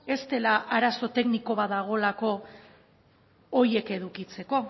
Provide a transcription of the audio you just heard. ez dela arazo tekniko bat dagoelako horiek edukitzeko